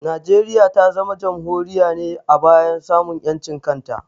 Najeriya ta zama Jamhuriya ne a bayan samun ƴancin kanta